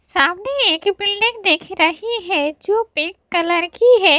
सामने एक बिल्डिंग दिख रही है जो पिंक कलर की है।